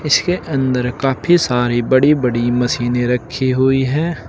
उसके अंदर काफी सारी बड़ी बड़ी मशीने रखी हुई है।